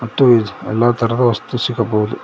ಮತ್ತು ಎಲ್ಲಾ ತರದ ವಸ್ತು ಸಿಗಬಹುದು.